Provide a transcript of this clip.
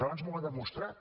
abans m’ho ha demostrat